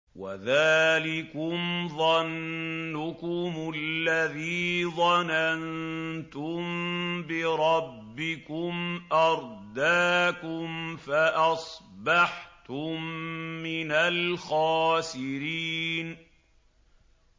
وَذَٰلِكُمْ ظَنُّكُمُ الَّذِي ظَنَنتُم بِرَبِّكُمْ أَرْدَاكُمْ فَأَصْبَحْتُم مِّنَ الْخَاسِرِينَ